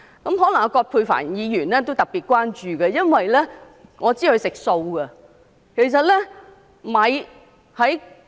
可能葛珮帆議員也特別關注這一點，因為我知道她是素食者。